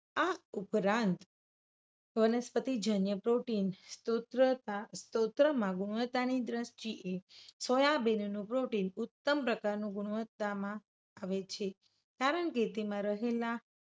આ ઉપરાંત વનસ્પતિ જન્ય protein સૂત્રતા સ્તોત્રમાં ગુણવત્તાની દ્રષ્ટિએ સોયાબીન નું protein ઉત્તમ પ્રકારનું ગુણવત્તામાં આવે છે. કારણ કે તેમાં રહેલા